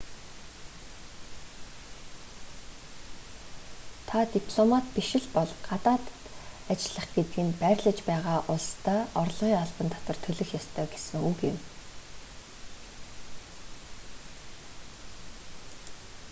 та дипломат биш л бол гадаад ажиллах гэдэг нь байрлаж байгаа улсдаа орлогын албан татвар төлөх ёстой гэсэн үг юм